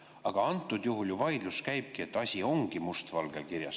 Aga antud juhul vaidlus käibki selle üle, et asi on must valgel kirjas.